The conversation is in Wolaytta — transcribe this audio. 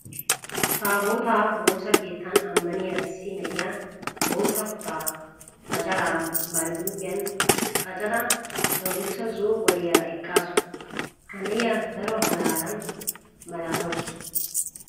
Taabootaa woosa keettan ammaniya issi na'iya bootta kutaa macaraa bari huuphiyan qacada adussa zo'o qoliyara eqqaasu. Ha na'iya daro malaalan malaatawusu.